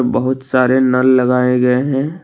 बहुत सारे नल लगाए गए हैं।